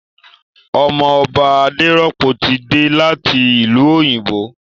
Ọmọ Ọba Adérọ́pò ti dé láti ìlú òyìnbó